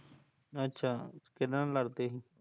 ਅੱਛਾ, ਕਿਹਦੇ ਨਾਲ਼ ਲੜਦੇ ਸੀ